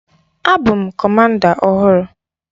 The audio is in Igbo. A bụ m Kọmanda ọhụrụ.